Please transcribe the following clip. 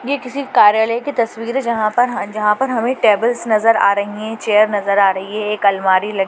यह किसी कार्यालय की तस्वीर है जहां पर हमें टेबल्स नजर आ रही है चेयर नजर आ रही है एक अलमारी लगी हुई है ।